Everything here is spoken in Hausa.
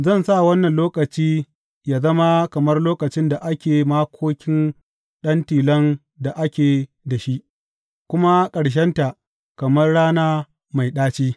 Zan sa wannan lokaci yă zama kamar lokacin da ake makokin ɗan tilon da ake da shi kuma ƙarshenta kamar rana mai ɗaci.